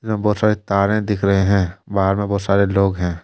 यहां बहुत सारे तारे दिख रहे हैं बाहर में बहुत सारे लोग हैं।